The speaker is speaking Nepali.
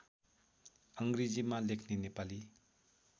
अङ्ग्रेजीमा लेख्ने नेपाली